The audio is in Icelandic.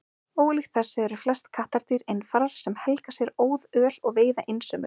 Ólíkt þessu eru flest kattardýr einfarar sem helga sér óðöl og veiða einsömul.